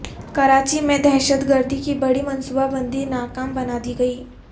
کراچی میں دہشتگردی کی بڑی منصوبہ بندی ناکام بنادی گئی